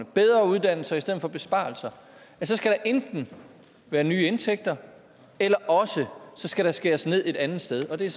bedre uddannelser i stedet for besparelser så skal der enten være nye indtægter eller også skal der skæres ned et andet sted og det er